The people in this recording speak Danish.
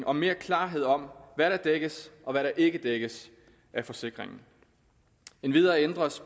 og mere klarhed om hvad der dækkes og hvad der ikke dækkes af forsikringen endvidere ændres